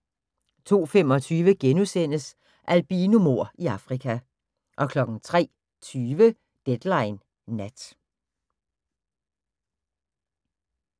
02:25: Albinomord i Afrika * 03:20: Deadline Nat